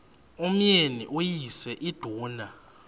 umyeni uyise iduna